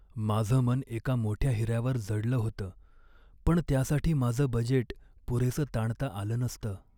माझं मन एका मोठ्या हिऱ्यावर जडलं होतं, पण त्यासाठी माझं बजेट पुरेसं ताणता आलं नसतं.